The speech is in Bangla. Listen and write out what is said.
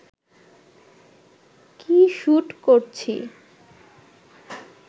কী শুট করছি